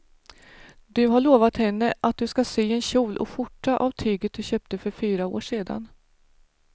Du har lovat henne att du ska sy en kjol och skjorta av tyget du köpte för fyra år sedan.